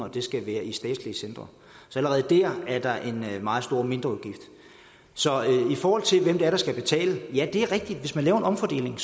at de skal være i statslige centre så allerede der er der en meget stor mindreudgift så i forhold til hvem det er der skal betale ja det er rigtigt at hvis man laver en omfordeling